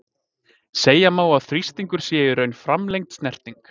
Segja má að þrýstingur sé í raun framlengd snerting.